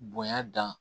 Bonya dan